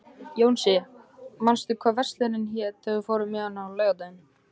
Jónsi, manstu hvað verslunin hét sem við fórum í á laugardaginn?